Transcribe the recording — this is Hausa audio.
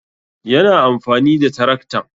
Yana amfani da taraktan